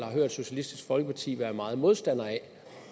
har hørt socialistisk folkeparti være meget modstander af